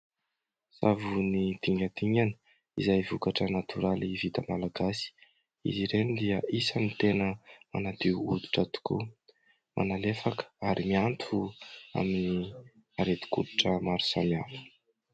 Savony dingadingana izay vokatra natoraly vita malagasy. Izy ireny dia isany tena manadio hoditra tokoa, manalefaka ary mianto amin'ny aretin-koditra maro samihafa.